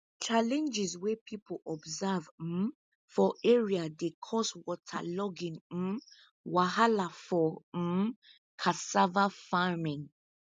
challenges wey people observe um for area dey cause waterlogging um wahala for um cassava farming